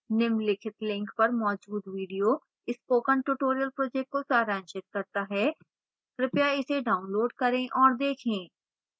निम्नलिखित link पर मौजूद video spoken tutorial project को सारांशित करता है कृपया इसे डाउनलोड करें और देखें